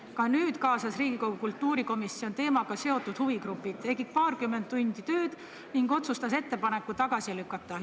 Ka nüüd kaasas Riigikogu kultuurikomisjon teemaga seotud huvigrupid, tegi paarkümmend tundi tööd ning otsustas ettepaneku tagasi lükata.